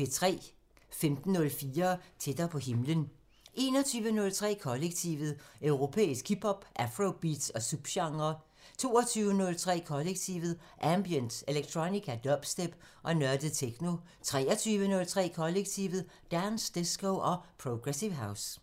15:04: Tættere på himlen 21:03: Kollektivet: Europæisk hip hop, afrobeats og subgenrer 22:03: Kollektivet: Ambient, electronica, dubstep og nørdet techno 23:03: Kollektivet: Dance, disco og progressive house